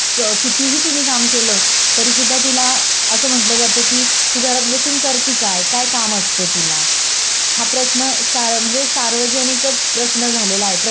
हा प्रश्न सार्व म्हणजे सार्वजनिकच प्रश्न झालेलय आहे. प्रत्येक घरोघरी हा प्रश्न स्त्रीला केला जातो. पण तिथी प्रत्येक हे याच्यामध्ये स्वतः किती कष्ट करते.